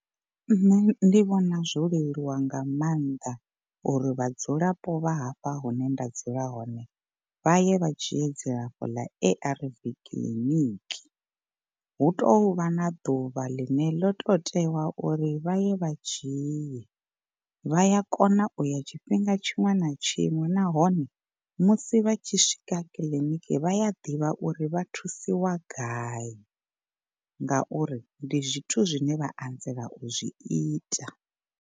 Nṋe ndi vhona zwo leluwa nga maanḓa uri vhadzulapo vha hafha hune nda dzula hone vha ye vha dzhie dzilafho ḽa A_R_V kiḽiniki. Hu tovha na ḓuvha ḽine ḽo to tewa uri vha ye vha dzhie vha ya kona uya tshifhinga tshiṅwe na tshiṅwe nahone musi vha tshi swika kiḽiniki vhaya ḓivha uri vha thusiwa gai. Ngauri ndi zwithu zwine vha anzela u zwi ita.